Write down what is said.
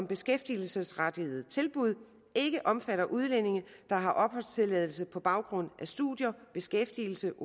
beskæftigelsesrettet tilbud ikke omfatter udlændinge der har opholdstilladelse på baggrund af studier beskæftigelse